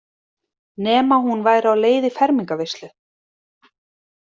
Nema hún væri á leið í fermingarveislu.